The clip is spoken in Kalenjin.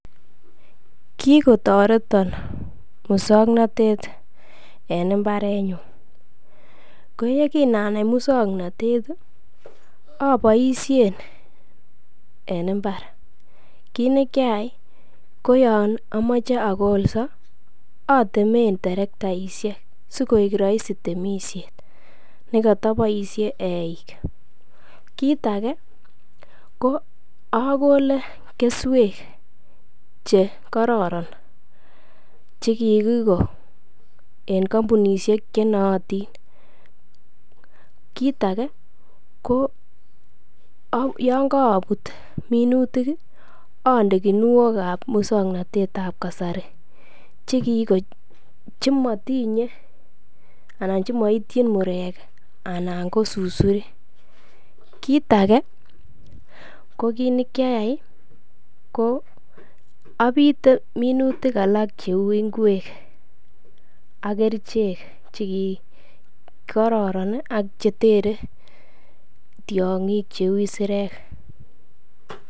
Kikotoreton muswoknotet en mbarenyun, kouye kinanai muswoknotet oboisien en mbar. Kit nekiayai koyon omoche okolso otemen terektaisiek sikoik roisi temisiet nekoto boisie eik. Kit age ko okole keswek chekororon chekikiko en kompunisiek chenootin. Kit age koyon korobut minutit ii onde kinuokab muswoknotetab kasari chekiko chemotinye anan chemoityin murek anan ko susurik. Kit age ko kit nekiayai ii ko opite minutik alak cheu ikwek ak kerichek che kororon ii ak chetere tiong'ik cheu isirek.